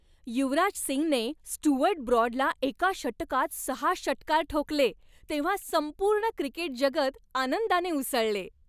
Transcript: युवराज सिंगने स्टुअर्ट ब्रॉडला एका षटकात सहा षटकार ठोकले तेव्हा संपूर्ण क्रिकेट जगत आनंदाने उसळले.